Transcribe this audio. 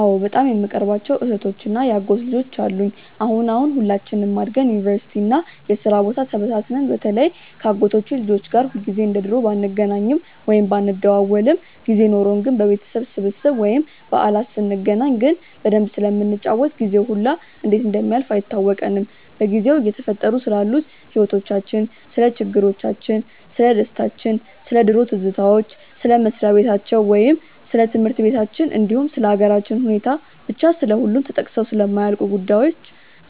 አዎ በጣም የምቀርባቸው እህቶች እና የአጎት ልጆች አሉኝ። አሁን አሁን ሁላችንም አድገን ዩኒቨርሲቲ እና የስራ ቦታ ተበታትነን በተለይ ከ አጎቶቼ ልጆች ጋር ሁልጊዜ እንደ ድሮ ባንገናኝም ወይም ባንደዋወልም ጊዜ ኖርን ግን በቤተሰብ ስብስብ ወይም በዓላት ስንገናኝ ግን በደንብ ስለምንጫወት ጊዜው ሁላ እንዴት እንደሚያልፍ አይታወቀንም። በጊዜው እየተፈጠሩ ስላሉት ህይወቲቻችን፣ ስለ ችግሮቻችን፣ ስለደስታችን፣ ስለ ድሮ ትዝታዎች፣ ስለ መስሪያ በታቸው ወይም ስለ ትምህርት በታችን እንዲሁም ስለ ሃገራችን ሁኔታ፤ ብቻ ስለሁሉም ተጠቅሰው ስለማያልቁ ጉዳዮች